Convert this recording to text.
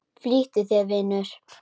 Flýttu þér, vinur.